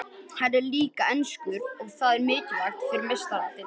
Hann er líka enskur og það er mikilvægt fyrir Meistaradeildina.